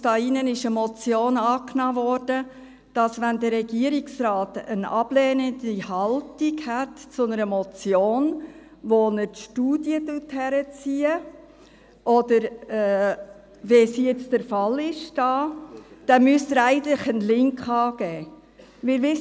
Hier in diesem Saal wurde eine Motion angenommen, wonach der Regierungsrat, wenn er eine ablehnende Haltung zu einer Motion hat, wobei er Studien herbeizieht, wie es jetzt hier der Fall ist, er dann eigentlich einen Link angeben müsste.